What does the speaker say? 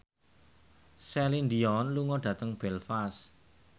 Celine Dion lunga dhateng Belfast